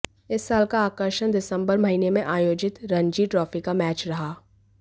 इस साल का आकर्षण दिसंबर महीने में आयोजित रणजी ट्रॉफी का मैच रहा